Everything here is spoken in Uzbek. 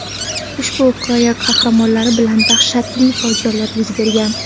Ushbu hikoya qahramonlari bilan dahshatli fojialar yuz bergan.